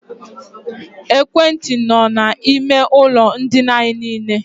Ekwentị nọ na ime ụlọ ndina anyị niile.